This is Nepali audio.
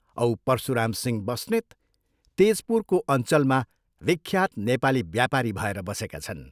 औ परशुरामसिंह बस्नेत तेजपुरको अञ्चलमा विख्यात नेपाली व्यापारी भएर बसेका छन्।